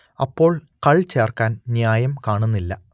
അപ്പോൾ കൾ ചേർക്കാൻ ന്യായം കാണുന്നില്ല